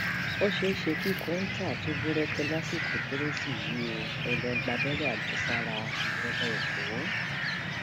ó ṣeé ṣe kí kọńtà tún búrẹkẹ lásìkò kérésì yìí o ẹ lọọ gbàbẹrẹ àjẹsára ìjọba ẹkọ